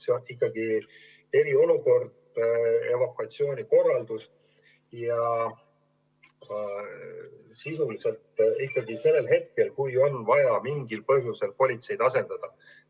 See on ikkagi eriolukord, evakuatsiooni korraldamine ja kehtib sisuliselt ikkagi siis, kui on vaja mingil põhjusel politseid asendada.